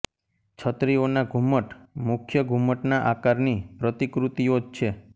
છતરીઓના ઘુમ્મટ મુખ્ય ઘુમ્મટના આકારની પ્રતિકૃતિઓ જ છે